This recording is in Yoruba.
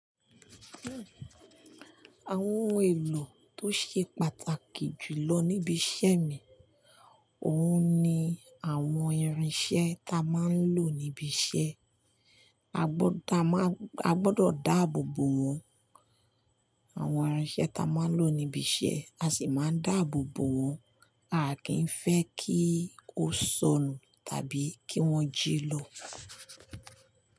Àwọn ohun èlò tó ṣe pàtàkì jù lọ níbi iṣẹ́ mi, òun ni àwọn irinṣẹ́ ta máa ń lò níbi iṣẹ́. A gbọ́dọ̀ dáàbò bo àwọn irinṣẹ́ ta máa ń lò níbi iṣẹ́, a sì máa ń dáàbò bo wọn. A kì í fẹ́ kí ó ṣónù tàbí kí wọ́n jí lọ.